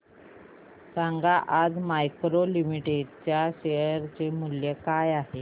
सांगा आज मॅरिको लिमिटेड च्या शेअर चे मूल्य काय आहे